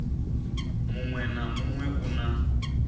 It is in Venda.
muwe na muwe u na